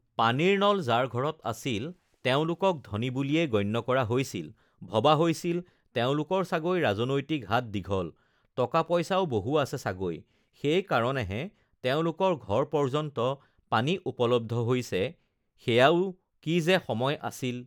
পানীৰ নল যাৰ ঘৰত আছিল, তেওঁলোকক ধনী বুলিয়েই গণ্য কৰা হৈছিল, ভবা হৈছিল তেওঁলোকৰ চাগৈ ৰাজনৈতিক হাত দীঘল, টকা পইচাও বহু আছে চাগৈ, সেইকাৰনেহে তেওঁলোকৰ ঘৰ পৰ্যন্ত পানী উপলব্ধ হৈছে সেয়াও কি যে সময় আছিল!